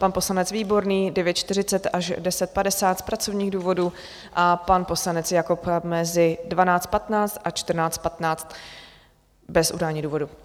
Pan poslanec Výborný 9.40 až 10.50 z pracovních důvodů a pan poslanec Jakob mezi 12.15 a 14.15 bez udání důvodu.